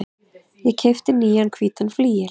Ég keypti nýjan hvítan flygil.